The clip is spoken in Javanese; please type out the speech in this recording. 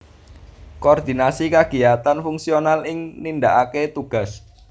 Koordinasi kagiyatan fungsional ing nindakaké tugas